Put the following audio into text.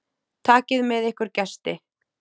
Takið með ykkur gesti.